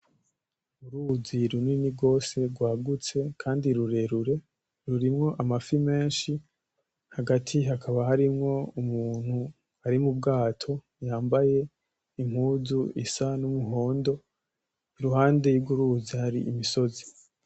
Uruzi runini gose kandi rwagutse rurerure, rurimwo amafi menshi hagati hakaba harimwo umuntu ari mu bwato yambaye impuzu isa n'umuhondo, iruhande rw'uruzi hari imisozi.